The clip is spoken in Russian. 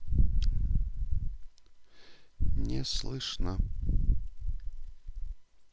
не слышно